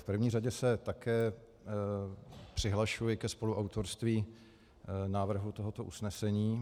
V první řadě se také přihlašuji ke spoluautorství návrhu tohoto usnesení.